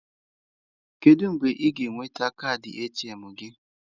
Kedu mgbe ị ga-enweta kaadị ATM gị?